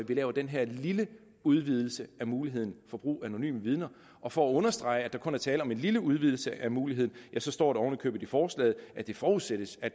vi laver den her lille udvidelse af muligheden for brug af anonyme vidner og for at understrege at der kun er tale om en lille udvidelse af muligheden ja så står der oven i købet i forslaget at det forudsættes at